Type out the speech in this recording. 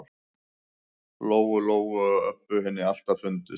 Lóu-Lóu og Öbbu hinni alltaf fundist.